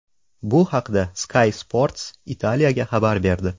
Bu haqda Sky Sports Italia xabar berdi .